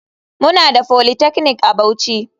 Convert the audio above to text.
Muna da polytechnic a bauchi.